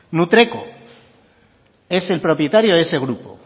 nutreco es el propietario de ese grupo